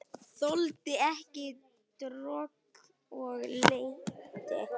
Þoldi ekki droll og leti.